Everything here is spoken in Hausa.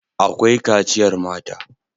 Akwai kaciyar mata.